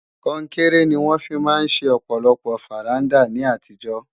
Kọnkéré ni wọ́n fi máa ń ṣe ọ̀pọ̀lọpọ̀ fàrándà ní àtijọ́